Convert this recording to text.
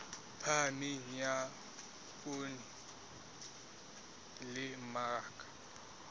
phahameng ya poone le mmaraka